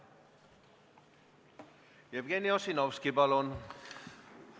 Jevgeni Ossinovski, palun!